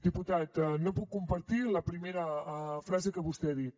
diputat no puc compartir la primera frase que vostè ha dit